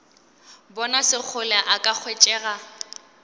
bona sekgole a ka hwetšega